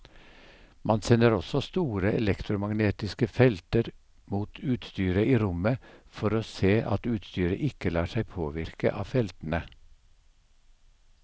Man sender også store elektromagnetiske felter mot utstyret i rommet for å se at utstyret ikke lar seg påvirke av feltene.